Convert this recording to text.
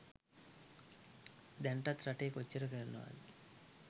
දැනටත් රටේ කොච්චර කරනවද.